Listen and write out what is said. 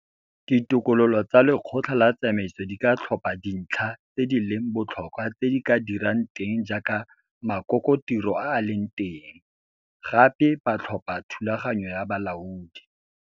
Ditokololo tsa Lekgotla la Tsamaiso di ka tlhopha dintlha tse di leng botlhokwa tse di ka dirang teng jaaka makokotiro a a leng teng. Gape ba tlhopha Thulaganyo ya Bolaodi.